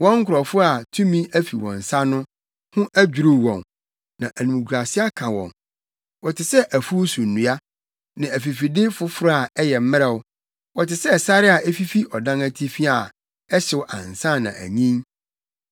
Wɔn nkurɔfo a tumi afi wɔn nsa no ho adwiriw wɔn, na animguase aka wɔn. Wɔte sɛ afuw so nnua, ne afifide foforo a ɛyɛ mmrɛw. Wɔte sɛ sare a efifi ɔdan atifi a ɛhyew ansa na anyin.